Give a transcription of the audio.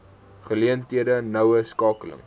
geleenthede noue skakeling